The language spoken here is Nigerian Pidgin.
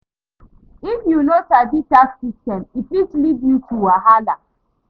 If yu no sabi tax systems, e fit lead yu to wahala